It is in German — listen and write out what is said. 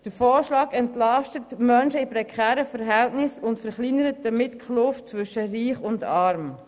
Der Vorschlag entlastet Menschen in prekären Verhältnissen und verkleinert somit die Kluft zwischen Reich und Arm.